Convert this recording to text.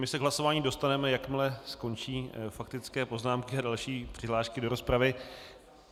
My se k hlasování dostaneme, jakmile skončí faktické poznámky a další přihlášky do rozpravy.